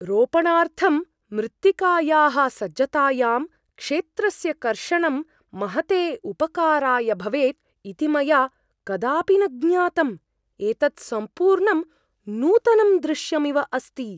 रोपणार्थं मृत्तिकायाः सज्जतायां क्षेत्रस्य कर्षणं महते उपकाराय भवेत् इति मया कदापि न ज्ञातम्। एतत् सम्पूर्णं नूतनं दृश्यमिव अस्ति!